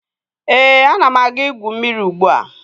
Ee, ana m aga igwu mmiri ugbua